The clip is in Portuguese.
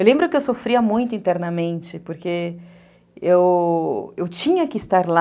Eu lembro que eu sofria muito internamente, porque eu eu tinha que estar lá,